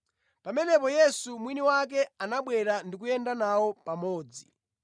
Pamenepo Yesu mwini wake anabwera ndi kuyenda nawo pamodzi;